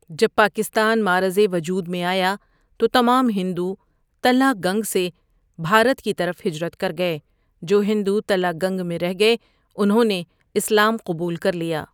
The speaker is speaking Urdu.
جب پاکستان معرض وجود میں آیا تو تمام ہندؤ تَلہ گَنگ سے بهارت کی طرف ہجرت کر گئے جو ہندؤ تَلہ گَنگ میں ره گئے انهوں نے اسلام قبول کر لیا ۔